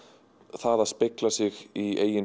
það að spegla sig í eigin